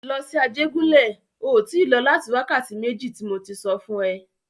Lọ sí Ajégúnlẹ̀! O tí lọ láti wákàtí méjì tí mo tí sọ fún e.